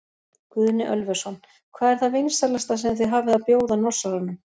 Guðni Ölversson: Hvað er það vinsælasta sem þið hafið að bjóða Norsaranum?